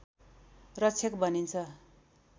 रक्षक भनिन्छ